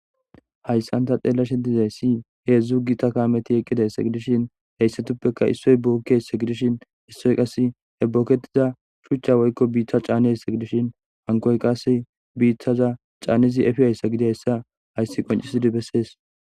hayssan ta xeelashe dizayssi heedzdzu gita kaameti eqqidayss gidishin heyssatuppeka issoy buokkess gidishin issoy qas he bokketiza shuchcha woykko biitta caanes gidishin hankoy qas biittaza caanizi efiyhayssa gidayssa hayssi qoncisidi bessees